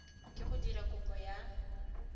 ke go dira kopo ya